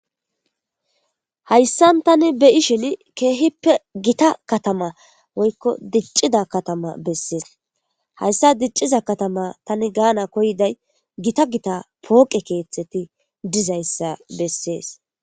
Haysan ta beyishin gita woykon dicida katama beses haysa dicida katama tani ganaw koyiday gita gita poqe kethati dizaysa beses